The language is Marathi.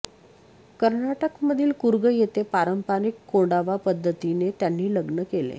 कर्नाटकमधील कुर्ग येथे पारंपारिक कोडावा पद्धतीने त्यांनी लग्न केले